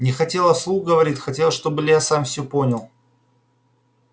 не хотела вслух говорить хотела чтобы илья сам всё понял